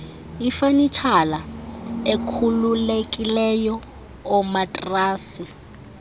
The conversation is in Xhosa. ifanitshala ekhululekileyo oomatrasi